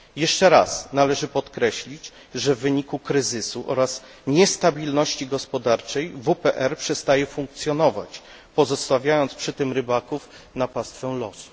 Jeszcze raz należy podkreślić, że w wyniku kryzysu oraz niestabilności gospodarczej WPRyb przestaje funkcjonować, pozostawiając przy tym rybaków na pastwę losu.